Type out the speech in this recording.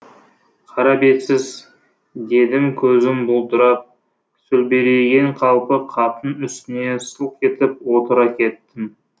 қарабетсіз дедім көзім бұлдырап сөлбірейген қалпы қаптың үстіне сылқ етіп отыра кеттім